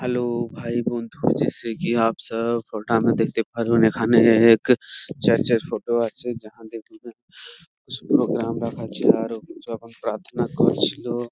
hello ভাই বন্ধুরা দেখতে পারবেন এখানে এক চার্চ -এর ফটো আছে প্রোগ্রাম দেখাচ্ছিল যখন প্রার্থনা করছিলো |